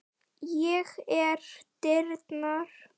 Ég er dyrnar.